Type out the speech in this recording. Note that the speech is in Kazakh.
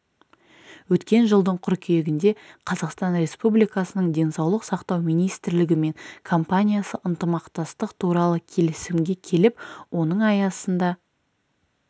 өткен жылдың қыркүйегінде қазақстан республикасының денсаулық сақтау министрлігі мен компаниясы ынтымақтастық туралы келісімге келіп оның аясында